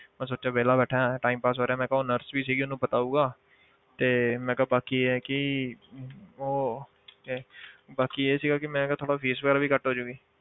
ਮੈਂ ਸੋਚਿਆ ਵਿਹਲਾ ਬੈਠਾਂ time pass ਹੋ ਰਿਹਾ ਮੈਂ ਕਿਹਾ ਉਹ nurse ਵੀ ਸੀਗੀ ਉਹਨੂੰ ਪਤਾ ਹੋਊਗਾ ਤੇ ਮੈਂ ਕਿਹਾ ਬਾਕੀ ਇਹ ਹੈ ਕਿ ਉਹ ਕਿ ਬਾਕੀ ਇਹ ਸੀਗਾ ਕਿ ਮੈਂ ਕਿਹਾ ਥੋੜ੍ਹਾ fees ਵਗ਼ੈਰਾ ਵੀ ਘੱਟ ਹੋ ਜਾਊਗੀ।